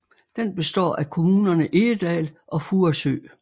Den består af kommunerne Egedal og Furesø